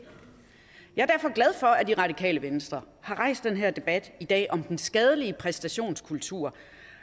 jeg er derfor glad for at radikale venstre har rejst den her debat i dag om den skadelige præstationskultur